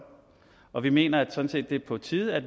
og vi mener sådan set det er på tide at